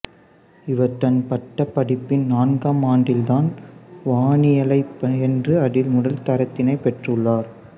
இவர் தன் பட்டப்படிப்பின் நான்காம் ஆண்டில்தான் வானியலைப் பயின்று அதில் முதல் தரத்தினைப் பெற்றுள்ளார்